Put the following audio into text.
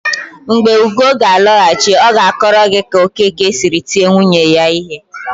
Mgbe Ugo ga-alọghachi, ọ ga-akọrọ gị ka Okeke siri tie nwunye ya ihe.